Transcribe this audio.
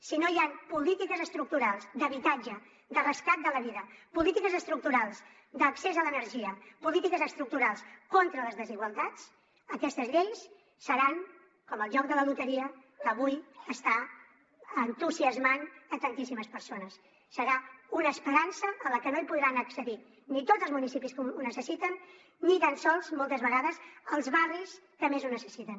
si no hi han polítiques estructurals d’habitatge de rescat de la vida polítiques estructurals d’accés a l’energia polítiques estructurals contra les desigualtats aquestes lleis seran com el joc de la loteria que avui està entusiasmant tantíssimes persones serà una esperança a la que no hi podran accedir ni tots els municipis que ho necessiten ni tan sols moltes vegades els barris que més ho necessiten